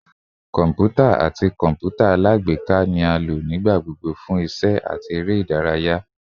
Kọmputa ati kọǹpútà alágbèéká ni a lo nigbagbogbo fun iṣẹ ati ere idaraya